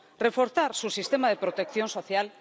reforzar su sistema de protección social